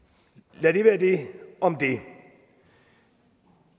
lad det være det om det